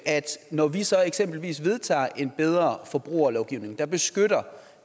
når vi så eksempelvis vedtager en bedre forbrugerlovgivning der beskytter